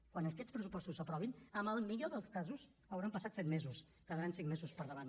quan aquests pressupostos s’aprovin en el millor dels casos hauran passat set mesos quedaran cinc mesos per davant